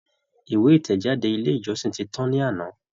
Ìwé ìtẹ̀jáde ilé ìjọsìn tí tán ní àná.